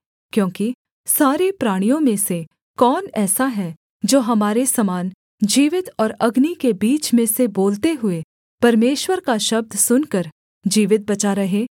क्योंकि सारे प्राणियों में से कौन ऐसा है जो हमारे समान जीवित और अग्नि के बीच में से बोलते हुए परमेश्वर का शब्द सुनकर जीवित बचा रहे